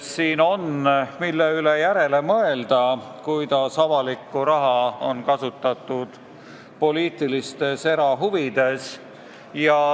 Siin on, mille üle järele mõelda, vaadates, kuidas avalikku raha on kasutatud poliitilistes erahuvides.